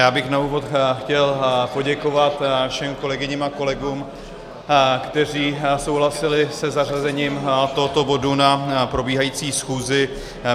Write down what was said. Já bych na úvod chtěl poděkovat všem kolegyním a kolegům, kteří souhlasili se zařazením tohoto bodu na probíhající schůzi.